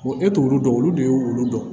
Wa e t'olu dɔn olu de y'olu dɔn